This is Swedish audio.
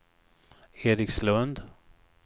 Erikslund